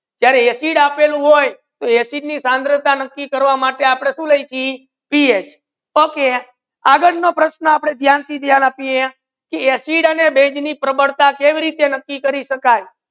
જ્યારે acid આપેલુ હોય acid ની સાંદ્રતા નકી કરવા માટે આપડે સુ લાખી PH okay આગડ નુ પ્રશ્ના આપડે ધ્યાન થી ધ્યાન આપિયે પ્રબળતા બેઝ ની કેવી રીતે નાકી કરે